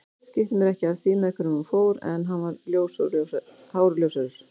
Skipti mér ekki af því með hverjum hún fór en hann var hár og ljóshærður